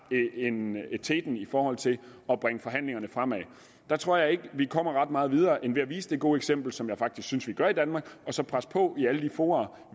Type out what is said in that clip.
teten i forhold til at bringe forhandlingerne fremad der tror jeg ikke vi kommer ret meget videre end ved at vise det gode eksempel som jeg faktisk synes vi gør i danmark og så lægge pres på i alle de fora